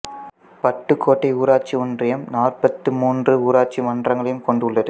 பட்டுக்கோட்டை ஊராட்சி ஒன்றியம் நாற்பத்து மூன்று ஊராட்சி மன்றங்களைக் கொண்டுள்ளது